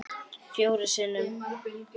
Fjórum sinnum